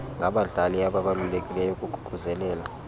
ngabadlali ababalulekileyo ukuququzelela